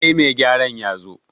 sai mai gyaran ya zo